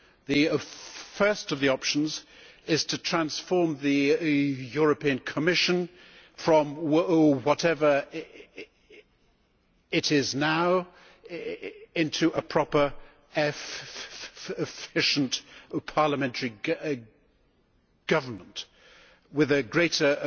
The first of the options is to transform the Commission from whatever it is now into a proper efficient parliamentary government with a greater